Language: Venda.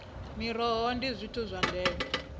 miroho ndi zwithu zwa ndeme